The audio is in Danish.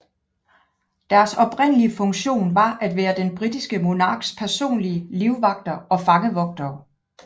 Deres oprindelige funktion var at være den britiske monarks personlige livvagter og fangevogtere